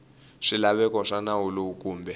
swilaveko swa nawu lowu kumbe